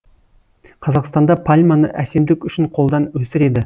қазақстанда пальманы әсемдік үшін қолдан өсіреді